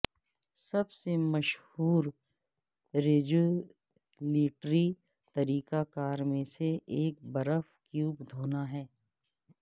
سب سے مشہور ریجولیٹری طریقہ کار میں سے ایک برف کیوب دھونا ہے